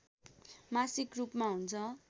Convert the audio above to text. मासिक रूपमा हुन्छ